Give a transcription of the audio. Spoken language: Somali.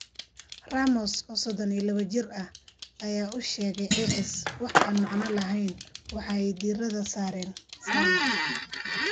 Ramos, oo sodhon iyo lawo jir ah, ayaa u sheegay AS: “Wax aan macno lahayn, waxa ay diiradda saareen Salah.